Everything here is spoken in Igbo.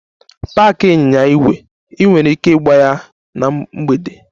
Paaki ịnyịnya ígwè! Ị nwere ike ịgba ya na mgbede.